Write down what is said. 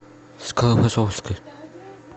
склифосовский